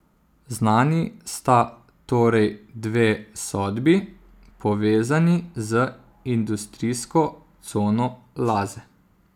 Znani sta torej dve sodbi, povezani z industrijsko cono Laze.